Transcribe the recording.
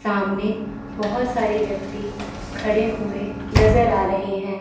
सामने बहोत सारे व्यक्ति खड़े हुए नजर आ रहे हैं।